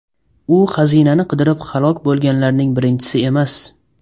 U xazinani qidirib halok bo‘lganlarning birinchisi emas.